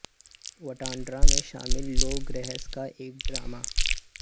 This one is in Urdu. وٹاندرا میں شامل لوک رہس کا ایک ڈرامہ